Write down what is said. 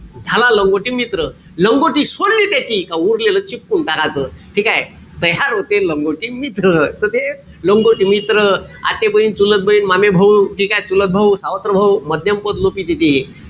झाला लंगोटी मित्र. लंगोटी सोडली त्याची का उरलेलं चिपकुन टाकाच. ठीकेय? तयार होते लंगोटी मित्र. त ते लंगोटी मित्र . आतेबहीण, चुलतबहीण, मामेभाऊ ठीकेय? चुलतभाऊ, सावत्रभाऊ, मध्यम पद लोपी तिथे.